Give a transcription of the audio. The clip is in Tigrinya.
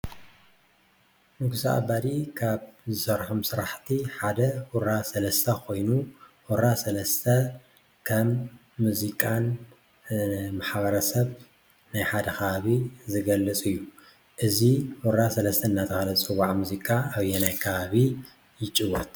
ንጉሰ ኣባዲ ካብ ዝሰርሖም ስራሕቲ ሓደ ሁራ ሰለስተ ኮይኑ ሁራ ሰለስተ ከም ሙዚቃ ንማሕበረሰብ ናይ ሓደ ከባቢ ዝገልፅ እዩ፡፡ እዚ ሁራ ሰለስተ እናተባህለ ዝፅዋዕ ሙዚቃ ኣበየናይ ከባቢ ይጭወት?